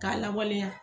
K'a lawaleya